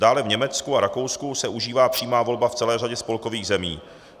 Dále v Německu a Rakousku se užívá přímá volba v celé řadě spolkových zemí.